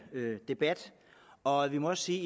debat og vi må også sige